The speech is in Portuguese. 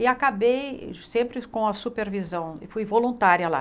E acabei sempre com a supervisão, fui voluntária lá.